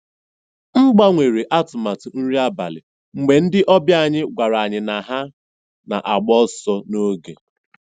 M gbanwere atụmatụ nri abalị mgbe ndị ọbịa anyị gwara anyị na ha na-agba ọsọ n'oge.